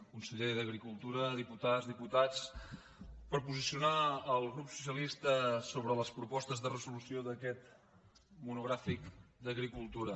conseller d’agricultura dipu·tades diputats per posicionar el grup socialista sobre les propostes de resolució d’aquest monogràfic d’agri·cultura